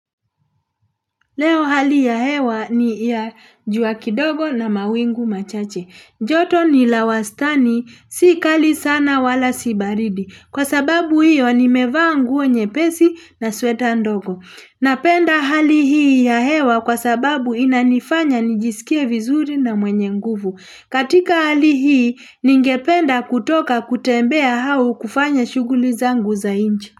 Leo hali ya hewa ni ya jua kidogo na mawingu machache. Joto ni la wastani, sikali sana wala si baridi. Kwa sababu hiyo nimevaa nguo nyepesi na sweta ndogo. Napenda hali hii ya hewa kwa sababu inanifanya nijisikie vizuri na mwenye nguvu. Katika hali hii, ningependa kutoka kutembea hau kufanya shughuli zangu za nje.